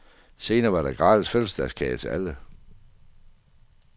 Senere var der gratis fødselsdagskage til alle.